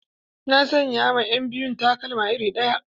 Na sayan ma ƴan biyun takalma iri ɗaya.